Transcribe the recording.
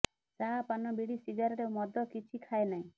ଚା ପାନ ବିଡ଼ି ସିଗାରେଟ୍ ଓ ମଦ କିଛି ଖାଏ ନାହିଁ